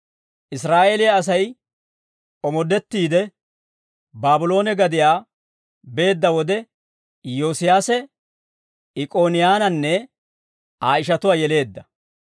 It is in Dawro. Israa'eeliyaa Asay omoddettiide, Baabloone gadiyaa beedda wode, Iyyoosiyaase Ikkoniyaananne Aa ishatuwaa yeleedda.